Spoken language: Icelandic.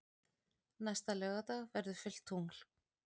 Næsta laugardag verður fullt tungl.